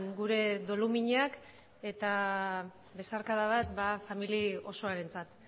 gure doluminak eta besarkada bat familia osoarentzat